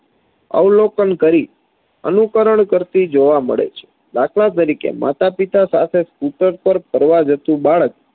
અવલોકન કરી અનુકરણ કરતી જોવા મળે છે દાખલા તરીકે માતા પિતા સાથે scooter પર ફરવા જતુ બાળક